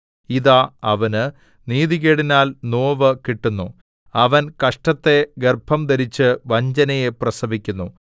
ഇതാ അവന് നീതികേടിനാൽ നോവു കിട്ടുന്നു അവൻ കഷ്ടത്തെ ഗർഭംധരിച്ച് വഞ്ചനയെ പ്രസവിക്കുന്നു